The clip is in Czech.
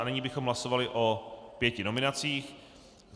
A nyní bychom hlasovali o pěti nominacích.